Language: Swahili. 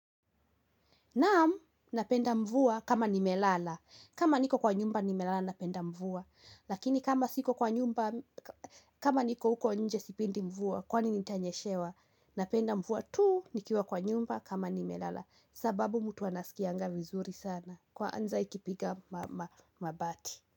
Naam, napenda mvua kama nimelala. Kama niko kwa nyumba, nimelala napenda mvua. Lakini kama niko huko nje sipendi mvua, kwani nitanyeshewa. Napenda mvua tu, nikiwa kwa nyumba kama nimelala. Sababu mtu anasikianga vizuri sana. Kwanza ikipiga mabati.